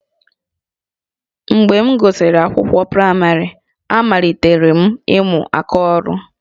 Mgbe m gụsịrị akwụkwọ praịmarị, amalitere m ịmụ aka ọrụ